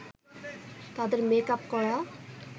তাদের মেকআপ করা